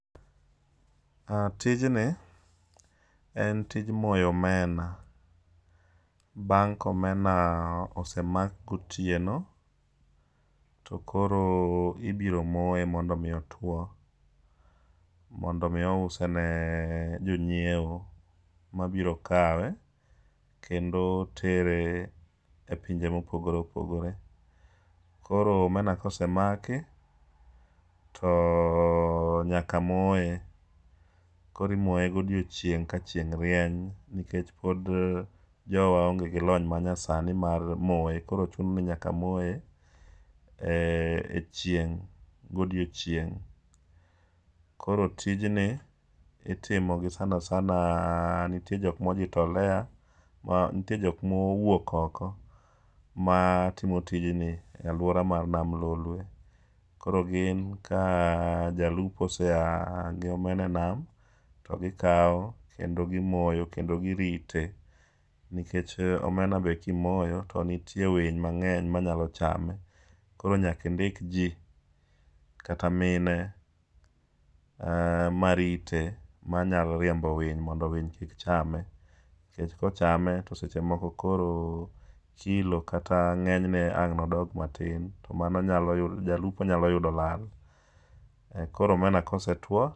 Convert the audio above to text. Tijni en tij moyo omena bang' ka omena osemak gotieno, Tokoro ibiro moye mondo mi ouo mondo mi use ne jonyiewo mabiro kawe kendo ere e pinje mopogore opogore. Koro omena kosemaki to nyaka moye. Koro imoye godiechieng' ka chieng' rieny nikech pod onge gilony manyasani mar moye koro chuno ni nyaka moye e chieng' godiechieng'. Koro tijni itimo gi sana sana nitie jok ma ojitolea nitie jok mowuok oko mar timo tijni e aluora nade lolwe, koro gin ka jalupo osea gi omena nam to gikawo kendo gimoyo kendo girite nikech omena be kimoyo to nitiae winy mang'eny manyalo chame koro nyaka indik ji kata mine marite manyalo riembo winy mondo winy kik chame. Nikech ka ochame to seche moko koro kilo kata ng'eng'ne ang' nodog matin to mano nyalo yu jalupo nyalo yudo lal. Koro omena ka osetuo